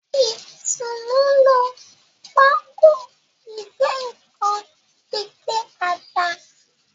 Itunu ló Pákò ìgé-nǹkan fí gé atá.